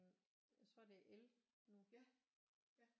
Jeg tror det er el nu